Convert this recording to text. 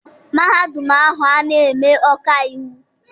Mahadum ahụ ana eme ọkaiwu?